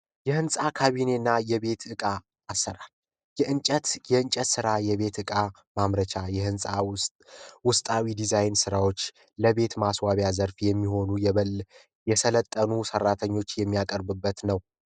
የህንፃ ካቢኔና የቤት ዕቃ አሰራር የእንጨት የእንጨት ስራ የቤት ዕቃ ማምረቻ የህንፃ ዉስጥ ውስጣዊ ዲዛይን ስራዎች ለቤት ማስዋቢያ ዘርፍ የሚሆኑ የሰለጠኑ ሰራተኞች የሚያቀርቡበት ነው